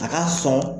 A ka sɔn